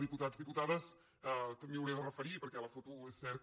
diputats diputades també m’hi hauré de referir perquè la foto és cert que